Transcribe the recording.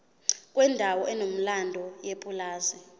kwendawo enomlando yepulazi